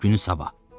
Günü sabah.